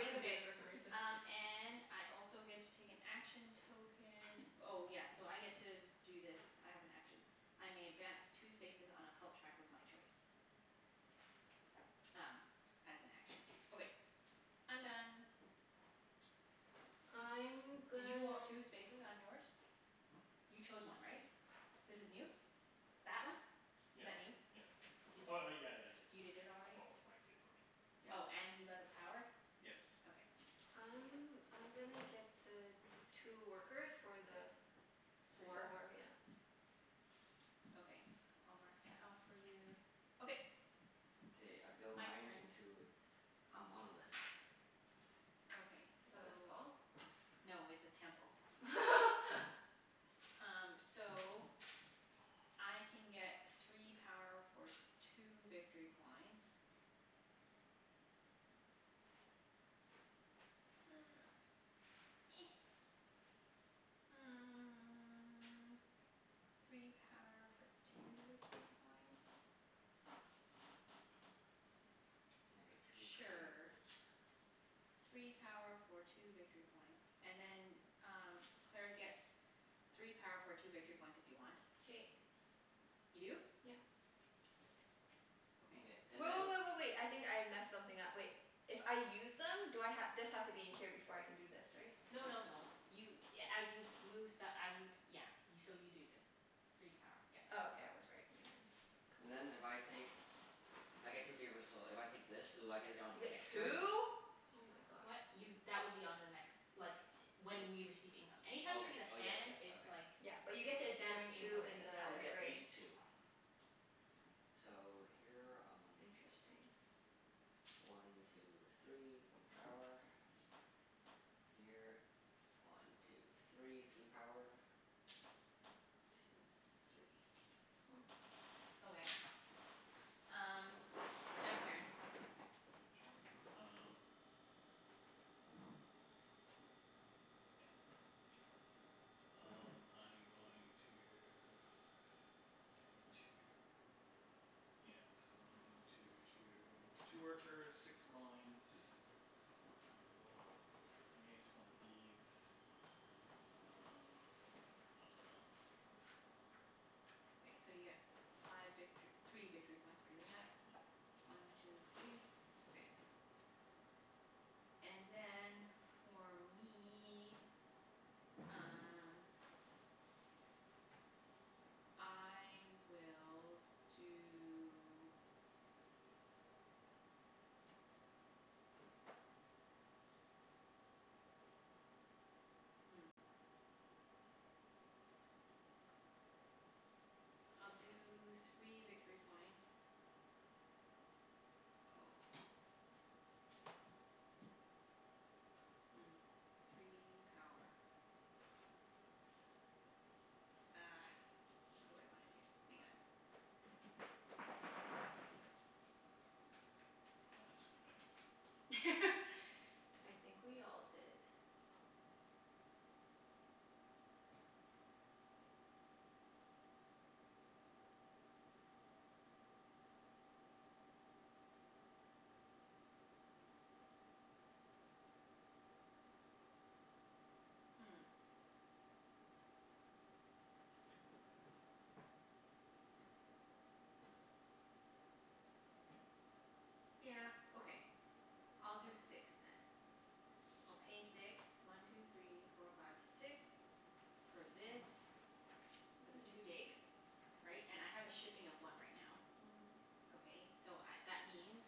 confused for some reason. Um and I also get to take an action token. Oh yes, so I get to do this. I have an action. I may advance two spaces on a cult track of my choice. Um as an action. Okay, I'm done. I'm Did you gonna go up two spaces on yours? Hmm? You chose one, right? This is new? That one? Yeah Is that yeah. new? Did Oh oh y- yeah, I you did. did it already? Well, Mike did for me. Yep. Oh, and you got Yes. the power? Okay. I'm I'm gonna get the two workers for the Three. four, yeah. Four? Okay. I'll mark that off for you. Okay. K, I build Mike's mine turn. into a monolith. Okay, Is that what it's so called? no, it's a temple. Um so I can get three power for two victory points. Three power for two victory points? And I get two favors. Sure. Three power for two victory points. And then um Claire gets three power for two victory points if you want. K. You do? Yep. Mkay, Okay. and Wait, then wait, wait, wait, wait. I think I messed something up. Wait. If I use them do I ha- this has to be in here before I can do this, right? No no no, you a- as you move st- I mean, yeah. So you do this. Three power. Yep. Oh, okay, I was right. Never mind. And then if I take, I get two favors, so if I take this do I get it on You my get next turn? two? Oh my gosh. What? D- Y- that would be on the next, like, W- when we receive income. Okay. Anytime you see the Oh yes, hand yes. it's Okay. like Yeah, but you get to advance during Mkay. income two in phase. I'll the get gray. these two. So, here um Interesting. One two three. One power. Here. One two three. Three power. Two three. Huh. Okay. Um Jeff's turn. My turn? Um Yeah, okay. Um I'm going to Pay two, yeah. So I'm going to two Two workers, six coins. And we'll create one of these. Um I dunno. This one. So you get five victor- three victory points for doing that. Yeah. One two three. Okay. And then, for me um I will do Hmm. I'll do three victory points. Oh. Hmm, three power. Ah, what do I wanna do? Hang on. I screwed up. I think we all did. Hmm. Yeah, okay. I'll do six then. I'll pay six. One two three four five six. For this. For the two Mm. digs. Right? And I have a shipping of one right now. Mhm. Okay, so I, that means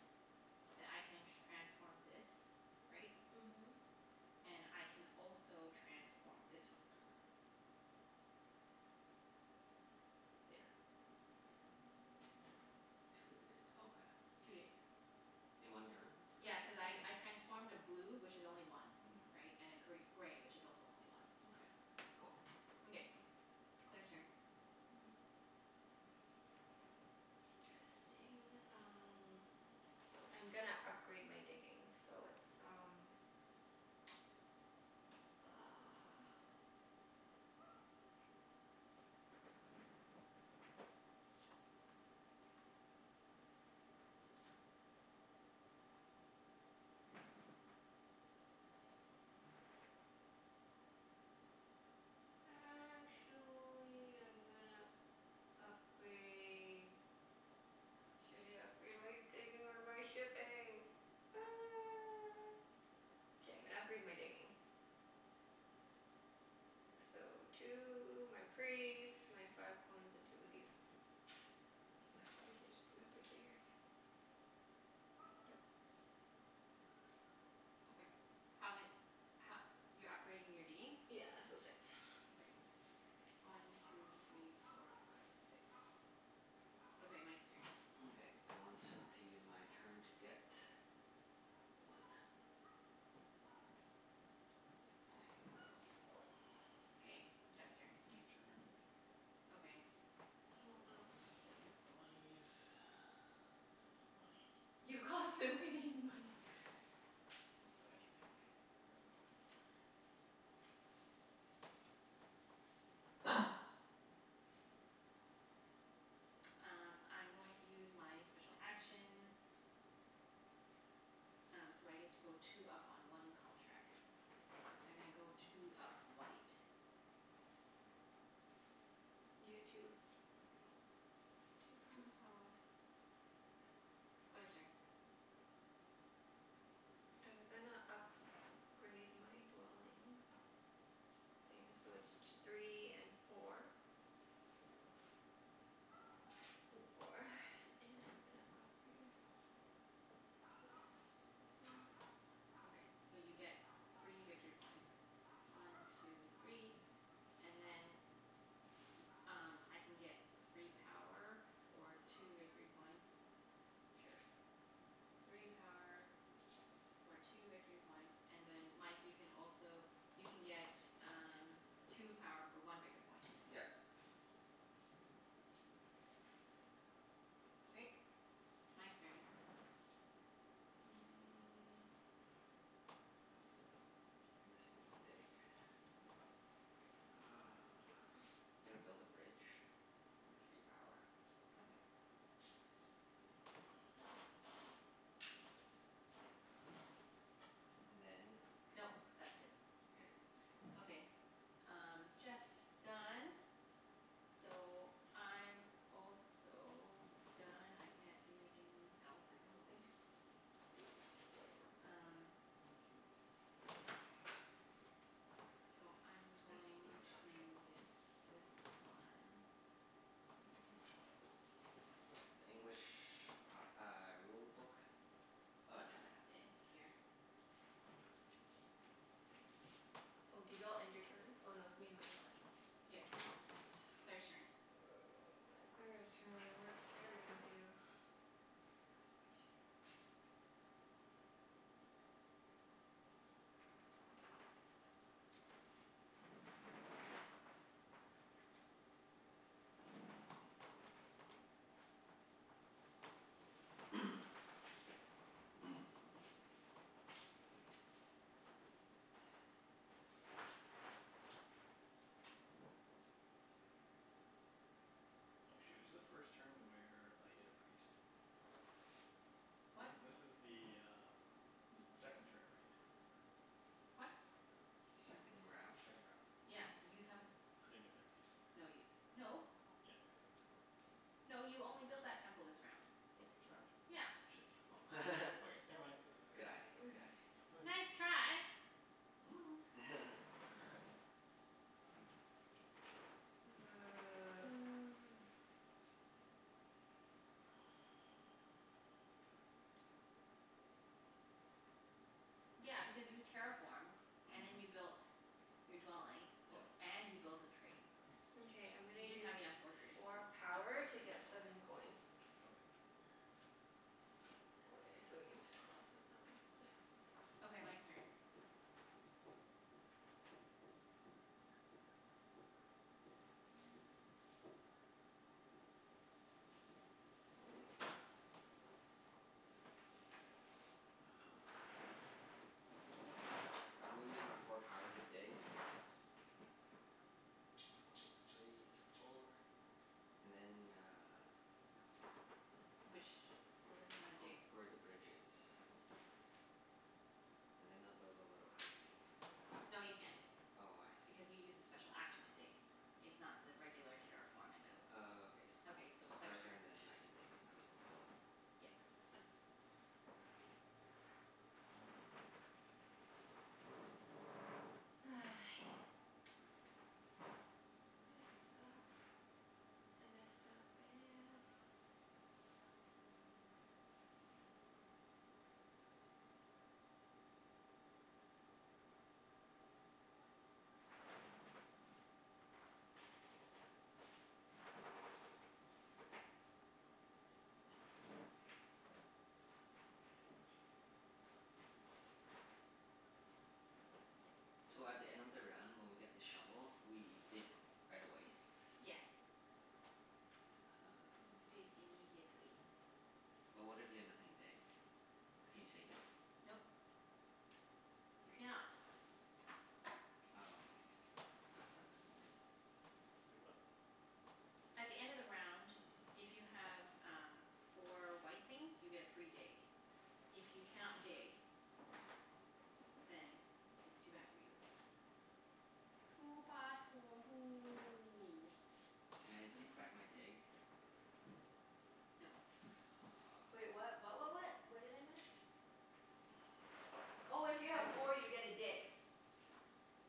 that I can transform this, right? And Mhm. I can also transform this one. There. Two digs. Okay. Two digs. In one turn? Yeah, cuz I I Okay. transformed a blue, which is only one. Mhm. Right? And a gr- gray, which is also only one. Mkay. Cool. Mkay. Claire's turn. Hmm. Interesting. Um I'm gonna upgrade my digging so it's um uh Actually I'm gonna upgrade Uh, should I upgrade my digging or my shipping? K, I'm gonna upgrade my digging. So two, my priest, my five coins, and two of these. Yep. Okay. How ma- ho- You're upgrading your digging? Yeah, so six. Okay. One two three four five six. Okay, Mike's turn. Mkay. I want to use my turn to get one. And I get this. Okay, Jeff's turn. Ending turn. Okay. Oh, wow. I'll get the monies cuz I need money. You constantly need money. I don't have anything. I got nothin'. Um I'm going to use my special action. Um so I get to go two up on one cult track. So I'm gonna go two up white. You get two. Okay. Two power. Two power. Claire's turn. I'm gonna up grade my dwelling thing, so it's t- three and four. Four and I'm gonna upgrade this this one. Okay, so you get three Two victory three. points. One two three, and then Y- um I can get three power for two victory points. Or Sure. a church. Three power for two victory points, and then Mike you can also you can get um two power for one victory point. Yep. Okay, Mike's turn. Mm. I'm missing a dig. Uh gonna build a bridge. With three power. Okay. And then Nope, that's it. K. Okay. Um Jeff's done. So I'm also done. I can't do anything else, Their I don't rules. think. Um Thank you. So I'm Hey, this is going the French one. to get this one. Where's the English one? The English p- uh rulebook? Oh, Junette has it. Uh it's here. Oh, did you all end your turn? Oh no, it's me and Mike left. Yep. Claire's turn. Oh my, Claire's turn. What is Claire gonna do? T- good question. Oh shoot, is the first turn where I get a priest? What? This this is the um second turn, right? What? Second round? Second round. Yeah, you haven't, I didn't get my priest. no y- no. Yeah, cuz I have a temple. No, you only built that temple this round. Was it this round? Yeah. Shit. Oh. Okay. Okay, never mind. Good eye. Good eye. Okay. Nice try. Five. One two three four five six seven eight. Yeah, because you terraformed and Mhm. then you built your dwelling, o- Yep. and you built a trading post. Mkay, I'm gonna You didn't use have enough workers to four power upgrade to to a get temple. seven coins. Okay. Okay, so we can just cross out that one. Yeah. Okay, Mike's turn. Uh I'm gonna use my four power to dig. One two three four. And then uh Which, where do you wanna Ov- dig? where the bridge is. And then I'll build a little housey. No, you can't, Oh, why? because you used a special action to dig. It's not the regular terraform and build. Oh, okay s- Okay, so so her Claire's turn turn. and then I can dig. I mean build. Yep. This sucks. I messed up bad. So at the end of the round when we get the shovel, we dig right away? Yes, you dig Oh. immediately. But what if you have nothing to dig? Can you save it? Nope. You cannot. Oh, that sucks. Say what? At the end of the round, if you Mm. have um four white things you get a free dig. If you cannot dig then it's too bad for you. Too bad for you. Can I take back my dig? No. Wait, Oh. what what what what? What did I miss? Oh, if you have four you get a dig.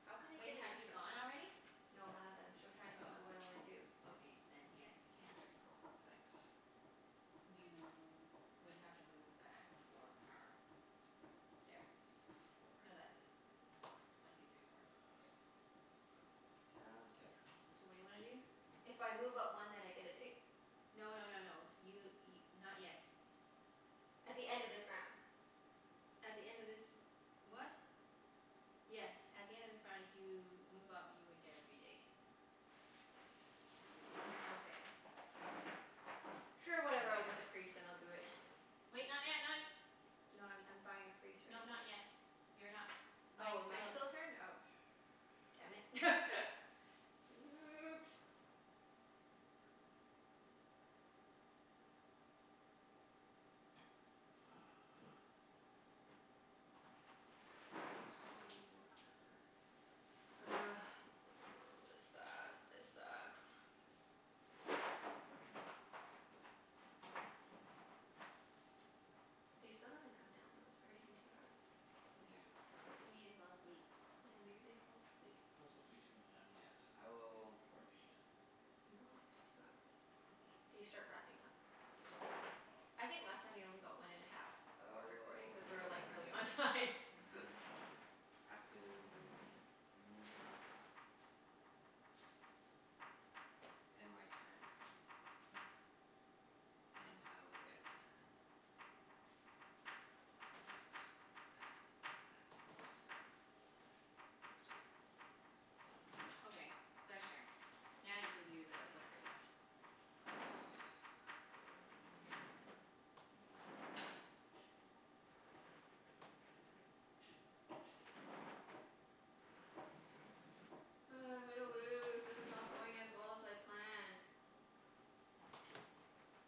How can I Wait, get an have you extra one? gone already? No, I haven't. I'm still trying to think of what I wanna do. Oh, okay, then yes, you Oh, can. okay. Cool. Thanks. You would have to move back four Four. power. There. Y- four. No, th- four. One two three four. K. Sounds good. So what do you wanna do? If I move up one then I get a dig? No no no no. You y- not yet. At the end of this round. At the end of this r- what? Yes, at the end of this round if you move up you would get a free dig. Nokay. Sure, whatever. I'll get the priest and I'll do it. Wait, not yet, not y- No, I'm I'm buying a priest right No, not now. yet. You're not, Mike's Oh, Mike's still still turn? Oh. Damn it. Oops. Uh Three power one worker. Ugh, this sucks. This sucks. They still haven't come down, though. It's already been two hours. Yeah. Maybe they fell asleep? Yeah, maybe they fell asleep. It could also take two and a half hours, Yeah. I will according to the email. No, it's two hours. Oh. They start wrapping up after two hours. Oh. I think last time they only got one and a half of our recording cuz we were like really on Oh. time. Oh. Have to End my turn. And I will get Thanks. This one. Okay, Claire's turn. Now you can do the whatever you want. Ugh, I'm gonna lose. This is not going as well as I planned.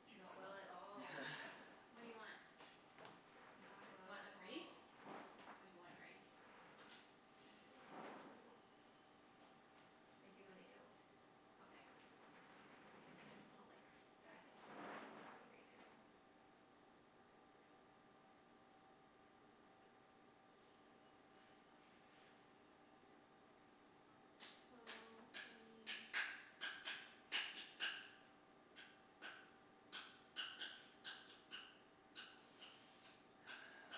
Do you Not plan well? well at all. What do you want? Not You well want at the priest? all. That's what you wanted, right? Not really. I do and I don't. Okay. It's not like s- that important that I do it right now. Well, I mean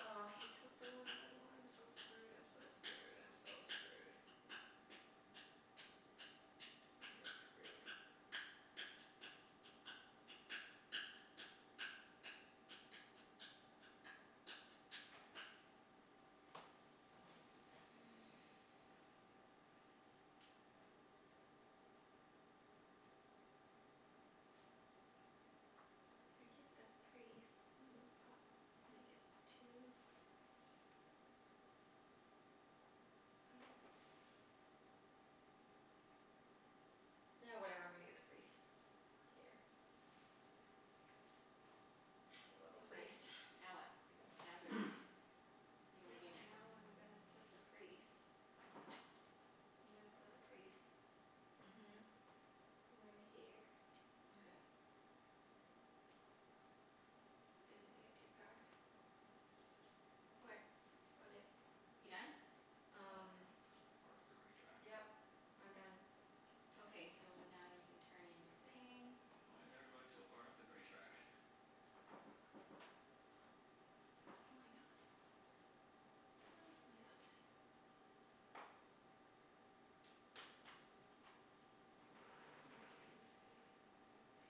Oh, he took the one that I wanted. I'm so screwed, I'm so screwed, I'm so screwed. I'm just screwed. If I get the priest and move up, then I get two I Ah, whatever, I'm gonna get the priest. Here. A little Okay, priest. now what? Now it's your turn. What do you wanna do Yeah, next? now I'm gonna put the priest I'm gonna put the priest Mhm. right here. Mkay. And then I get two power. Okay. That's about it. You done? Wow, Um everyone is so far up the gray track. Yep, I'm done. Damn. Okay, so now you can turn in your thing. Why is everybody so far up the gray track? Cuz why not? Cuz why not? Mkay, I'm just gonna get every dig.